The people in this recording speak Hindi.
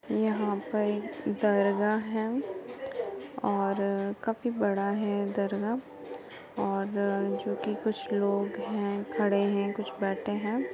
यहाँ पर दरगाह है और काफी बड़ा है दरगाह और जोकि कुछ लोग हैं खड़े हैं कुछ बैठे हैं।